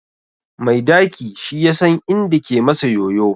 Mai daki shi yasan inda ke masa yoyo